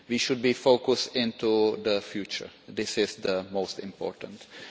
We should be focused on the future that is the most important thing.